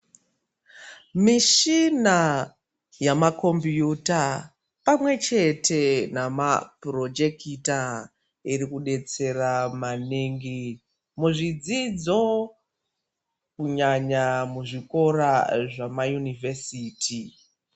Mishina yamakombiyuta pamwechete namapurojekita iri kubetsera maningi muzvidzidzo kunyanya muzvikora zvamaunivhesiti.